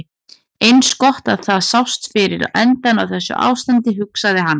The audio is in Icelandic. Eins gott að það sást fyrir endann á þessu ástandi, hugsaði hann.